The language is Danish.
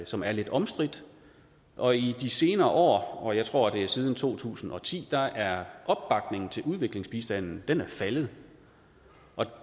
som er lidt omstridt og i de senere år jeg tror det er siden to tusind og ti er opbakningen til udviklingsbistanden faldet